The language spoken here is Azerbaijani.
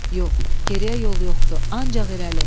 Yox, geriyə yol yoxdur, ancaq irəli.